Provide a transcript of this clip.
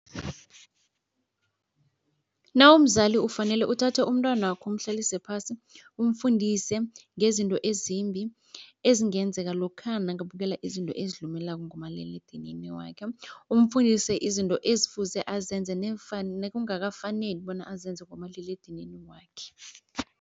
Nawumzali ufanele uthathe umntwanakho umhlalise phasi umfundise ngezinto ezimbi ezingenzeka lokha nakabukela izinto ezilumelako ngomaliledinini wakhe. Umfundise izinto ezifuse azenze nekungakafaneli bona azenza ngomaliledinini wakhe.